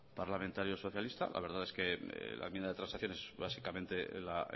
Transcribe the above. parlamentario socialista la verdad es que la enmienda de transacción es básicamente la